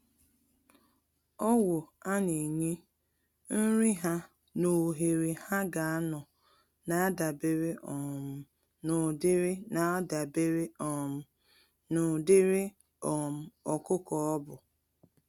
Ọgwụ a-nenye, nri ha nà ohere ha ga anọ, nadabere um n'ụdịrị nadabere um n'ụdịrị um ọkụkọ ọbụ.